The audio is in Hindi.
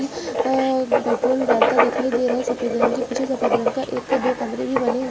आ पेट्रोल डालता दिखाई दे रहा है सफेद रंग के पीछे सफेद रंग का एक दो कमरे भी बने हुए--